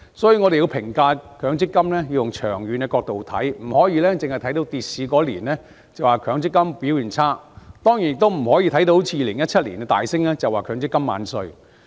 所以，我們要以長遠角度評價強積金，不可只看當年跌市便說強積金表現差，當然亦不能看到2017年股市大升便說強積金"萬歲"。